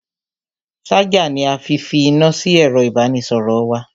Ṣájà ni a fi fi iná sí ẹ̀ro ìbánisọ̀rọ̀ wa.